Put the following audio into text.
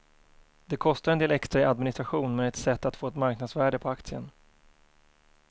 Det kostar en del extra i administration men är ett sätt att få ett marknadsvärde på aktien.